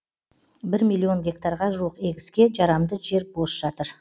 бір миллион гектарға жуық егіске жарамды жер бос жатыр